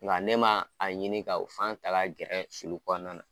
Nga ne ma a ɲini ka o fan ta ka gɛrɛ sulu kɔnɔna na.